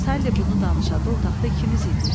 Sally bunu danışanda otaqda ikimiz idik.